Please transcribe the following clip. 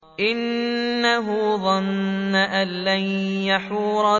إِنَّهُ ظَنَّ أَن لَّن يَحُورَ